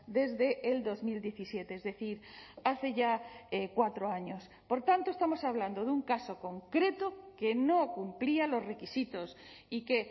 desde el dos mil diecisiete es decir hace ya cuatro años por tanto estamos hablando de un caso concreto que no cumplía los requisitos y que